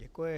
Děkuji.